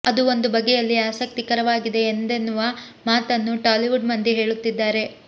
ಅದು ಒಂದು ಬಗೆಯಲ್ಲಿ ಆಸಕ್ತಿ ಕರವಾಗಿದೆ ಎಂದೆನ್ನುವ ಮಾತನ್ನು ಟಾಲಿವುಡ್ ಮಂದಿ ಹೇಳುತ್ತಿದ್ದಾರೆ